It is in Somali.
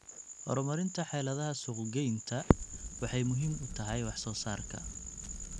Horumarinta xeeladaha suuqgeyntu waxay muhiim u tahay wax soo saarka.